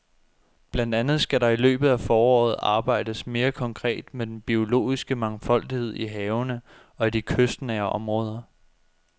Blandt andet skal der i løbet af foråret arbejdes mere konkret med den biologiske mangfoldighed i havene og i de kystnære områder.